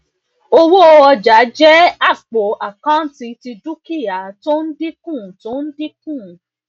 owó ọjà jẹ àpò àkántì ti dúkìá tó ń dínkù tó ń dínkù